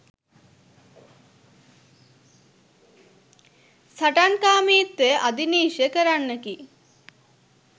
සටන්කාමීත්වය අධිනිශ්චය කරන්නකි.